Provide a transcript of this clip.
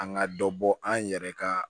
An ka dɔ bɔ an yɛrɛ ka